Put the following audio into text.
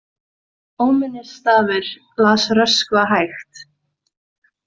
Óminnisstafur, las Röskva hægt.